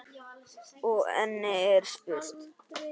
Og enn er spurt.